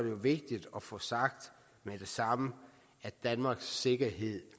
jo vigtigt at få sagt med det samme at danmarks sikkerhed